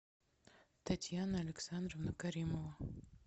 татьяна александровна каримова